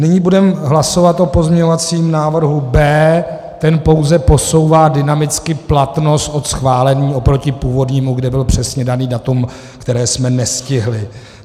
Nyní budeme hlasovat o pozměňovacím návrhu B. Ten pouze posouvá dynamicky platnost od schválení oproti původnímu, kde bylo přesně dané datum, které jsme nestihli.